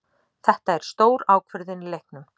Þetta er stór ákvörðun í leiknum.